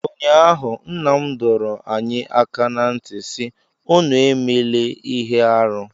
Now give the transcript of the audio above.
ụnyahụ, nna m dọrọ anyị aka ná ntị sị, unu emela ihe arụ